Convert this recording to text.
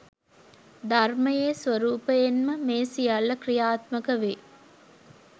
ධර්මයේ ස්වරූපයෙන්ම මේ සියල්ල ක්‍රියාත්මක වේ.